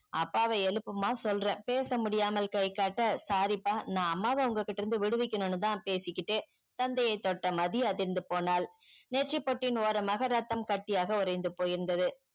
அப்பாவை எழுப்பும்மா சொல்றேன் பேச முடியாமல் கை காட்ட sorry ப்பா நான் அம்மாவை உங்க கிட்ட இருந்து விடு விக்கணும் தான் பேசிகிட்டே தந்தையே தொட்ட மதி அதிருந்து போனால் நேற்றறி பொட்டின் ஓரமாக ரத்தம் கட்டியாக ஓரைய்ந்து போனது